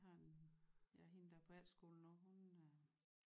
Jeg har en ja hende der er på efterskole lige nu hun øh